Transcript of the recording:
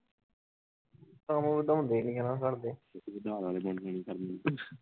ਕੰਮ ਓਦਾਂ ਹੁੰਦੇ ਹੀ ਨੀ ਹੈ ਘਰਦੇ